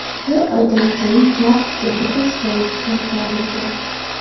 Bir oydan keyin kaft yana o‘z joyiga qaytarilgan.